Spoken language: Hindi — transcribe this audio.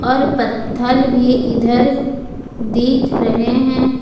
और पत्थल भी इधर दीख रहे हैं।